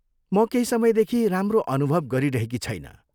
म केही समयदेखि राम्रो अनुभव गरिरहेकी छैन।